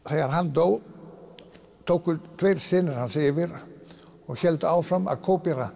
þegar hann dó tóku tveir synir hans yfir og héldu áfram að